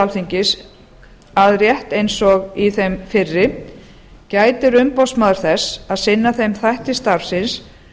alþingis að rétt eins og í þeim fyrri gætir umboðsmaður þess að sinna þeim þætti starfsins